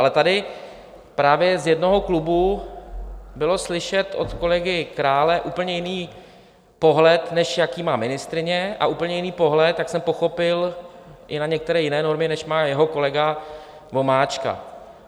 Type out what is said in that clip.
Ale tady právě z jednoho klubu byl slyšet od kolegy Krále úplně jiný pohled, než jaký má ministryně, a úplně jiný pohled, jak jsem pochopil, i na některé jiné normy, než má jeho kolega Vomáčka.